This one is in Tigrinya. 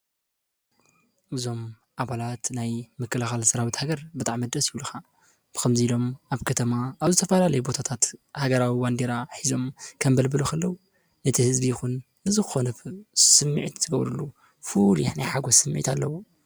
እዞም ኣባላት ናይ ምክልኻል ሰራዊት ሃገር ብጣዕሚ ደስ ይብሉኻ፤ ብኸምዚ ኢሎም ኣብ ከተማ ኣብ ዝተፈላለዩ ቦታታት ሃገራዊ ባንዴራ ሒዞም ከምብልብሉ ከለው እቲ ህዝቢ ይኹን ንዝኾነ ስምዒት ዝገብርሉ ፍሉይ ናይ ሓጎስ ስምዒት ኣለዎ።